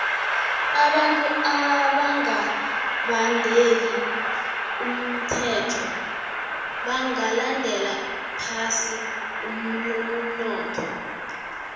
abantu abanga badeli umthelo bagandela phasi umnotho